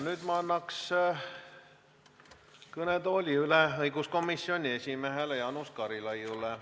Nüüd ma annan kõnetooli üle õiguskomisjoni esimehele Jaanus Karilaidile.